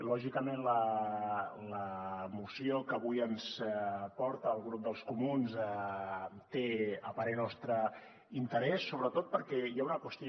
lògicament la moció que avui ens porta el grup dels comuns té a parer nostre interès sobretot perquè hi ha una qüestió